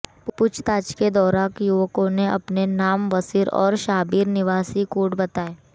पूछताछ के दौरान युवकों ने अपने नाम वसीर और शाबिर निवासी कोट बताए